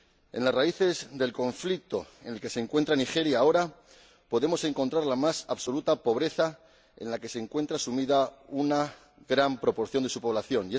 En las raíces del conflicto en el que se encuentra Nigeria ahora podemos encontrar la más absoluta pobreza en la que se encuentra sumida una gran proporción de su población.